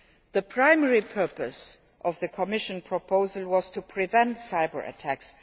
The primary purpose of the Commission proposal was to prevent cyber attacks.